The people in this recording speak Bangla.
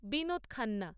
বিনোদ খান্না